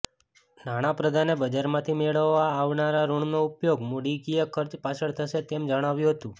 નાણાપ્રધાને બજારમાંથી મેળવવામાં આવનારા ઋણનો ઉપયોગ મૂડીકીય ખર્ચ પાછળ થશે તેમ જણાવ્યું હતું